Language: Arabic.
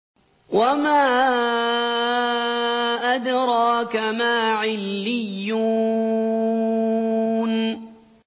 وَمَا أَدْرَاكَ مَا عِلِّيُّونَ